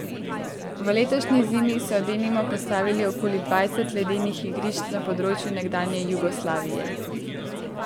V letošnji zimi so denimo postavili okoli dvajset ledenih igrišč na področju nekdanje Jugoslavije.